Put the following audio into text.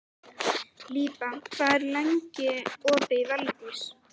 Líba, hvað er lengi opið í Valdís?